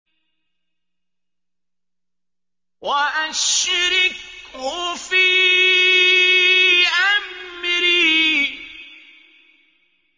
وَأَشْرِكْهُ فِي أَمْرِي